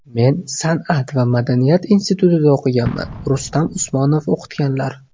Men San’at va madaniyat institutida o‘qiganman, Rustam Usmonov o‘qitganlar.